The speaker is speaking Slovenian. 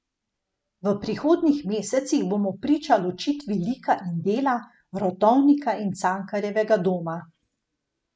V prihodnjih mesecih bomo priča ločitvi lika in dela, Rotovnika in Cankarjevga doma.